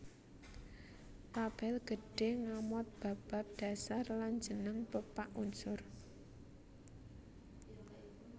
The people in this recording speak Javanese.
Tabel gedhé ngamot bab bab dhasar lan jeneng pepak unsur